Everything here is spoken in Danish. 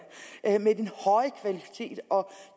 med den høje kvalitet og